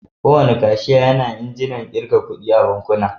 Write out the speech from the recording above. Kowane kashiya yana injinan ƙirga kuɗi a bankuna.